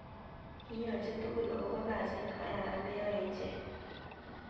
Kiiyonjin tugul akobo kasit nekararan neoei ichek